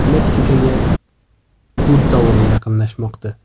Meksikaga Bud dovuli yaqinlashmoqda.